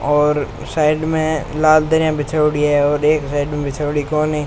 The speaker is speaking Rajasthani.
और साइड में लाल दरी बिछोड़ि है और एक साइड में बिछोड़ि कोनी।